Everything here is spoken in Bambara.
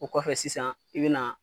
O kɔfɛ sisan i bina